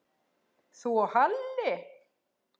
Þú og Halli?